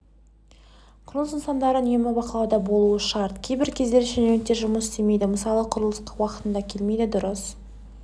құрылыс нысандары үнемі бақылауда болуы шарт кейбір кездері шенеуніктер жұмыс істемейді мысалы құрылысқа уақытында келмейді дұрыс